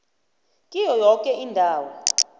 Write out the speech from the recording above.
kiyo yoke indawo